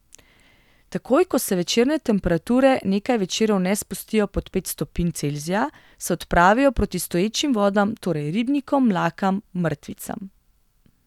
Takoj ko se večerne temperature nekaj večerov ne spustijo pod pet stopinj Celzija, se odpravijo proti stoječim vodam, torej ribnikom, mlakam, mrtvicam.